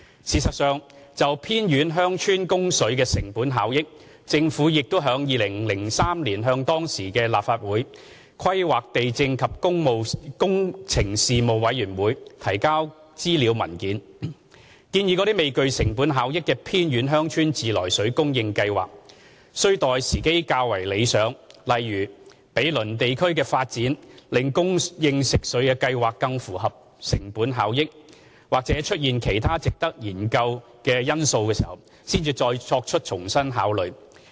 事實上，就偏遠鄉村供水的成本效益，政府亦於2003年向當時的立法會規劃地政及工程事務委員會提交資料文件，建議未具成本效益的偏遠鄉村自來水供應計劃待時機較為理想，例如毗鄰地區的發展令供應食水計劃更符合成本效益，或出現其他值得研究的因素時，才再作重新考慮。